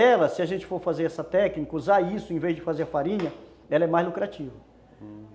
Ela, se a gente for fazer essa técnica, usar isso em vez de fazer farinha, ela é mais lucrativa, hum